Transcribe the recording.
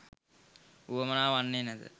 වුවමනා වන්නේ නැත.